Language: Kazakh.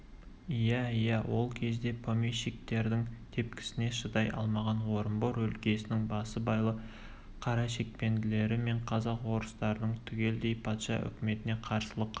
иә иә ол кезде помещиктердің тепкісіне шыдай алмаған орынбор өлкесінің басыбайлы қарашекпендері мен казак-орыстардың түгелдей патша үкіметіне қарсылық